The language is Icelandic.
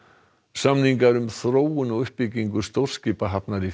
samningar um þróun og uppbyggingu stórskipahafnar í